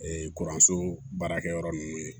kuranso baarakɛyɔrɔ ninnu ye